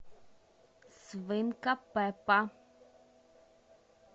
свинка пеппа